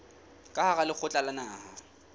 ka hara lekgotla la naha